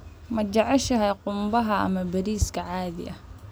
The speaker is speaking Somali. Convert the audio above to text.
Ma jeceshahay qumbaha ama bariiska caadiga ah?